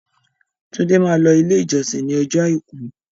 Túndé máa lọ ilé ìjọsìn ní ọjọ́ àìkú.